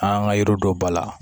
An ka yɔrɔ dɔ ba la